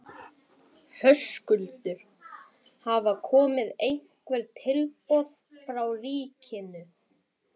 Höskuldur: Hafa komið einhver tilboð frá ríkinu?